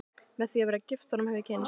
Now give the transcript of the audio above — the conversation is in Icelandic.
Með því að vera gift honum hef ég kynnst